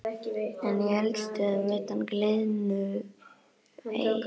En í eldstöðvum utan gliðnunarbeltisins hagar öðruvísi til.